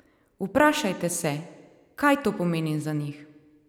Vprašajte se, kaj to pomeni za njih?